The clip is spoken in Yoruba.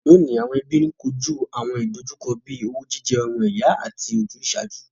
Lóọ̀ní, àwon ẹbí n kojú àwọn ìdojúkọ bíi owú jíjẹ ọmọ ìyá àti ojúsàájú.